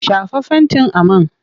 Shafa fentin a man!